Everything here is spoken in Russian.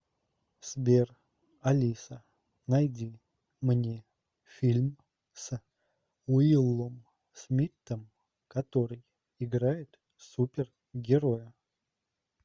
сбер алиса найди мне фильм с уиллом смиттом который играет супер героя